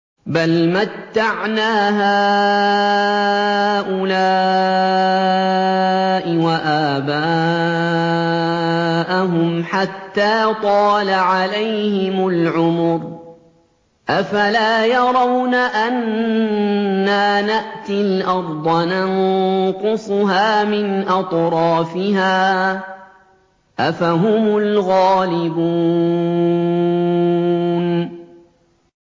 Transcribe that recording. بَلْ مَتَّعْنَا هَٰؤُلَاءِ وَآبَاءَهُمْ حَتَّىٰ طَالَ عَلَيْهِمُ الْعُمُرُ ۗ أَفَلَا يَرَوْنَ أَنَّا نَأْتِي الْأَرْضَ نَنقُصُهَا مِنْ أَطْرَافِهَا ۚ أَفَهُمُ الْغَالِبُونَ